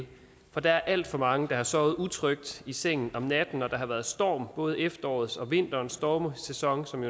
for der er alt for mange der har sovet utrygt i sengen om natten når der har været storm både efterårets og vinterens stormsæson